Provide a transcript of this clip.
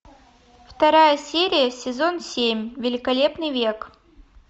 вторая серия сезон семь великолепный век